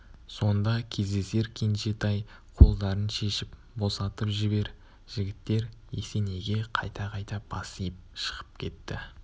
сонда кездесер кенжетай қолдарын шешіп босатып жібер жігіттер есенейге қайта-қайта бас иіп шығып кетті